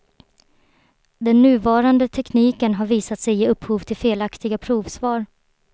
Den nuvarande tekniken har visat sig ge upphov till felaktiga provsvar.